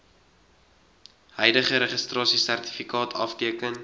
huidige registrasiesertifikaat afteken